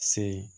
Se